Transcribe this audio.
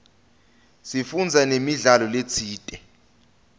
sifundze namidlalo letsite